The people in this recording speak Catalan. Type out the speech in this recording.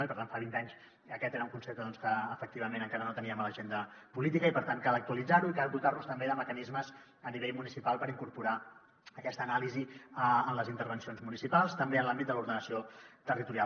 i per tant fa vint anys aquest era un concepte que efectivament encara no teníem a l’agenda política i per tant cal actualitzar lo i cal dotar nos també de mecanismes a nivell municipal per incorporar aquesta anàlisi en les intervencions municipals també en l’àmbit de l’ordenació territorial